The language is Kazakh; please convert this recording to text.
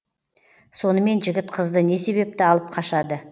сонымен жігіт қызды не себепті алып қашады